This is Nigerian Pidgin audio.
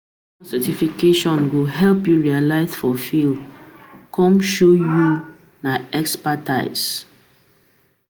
Professional certification go help you specialize for field, come show say you na expertise.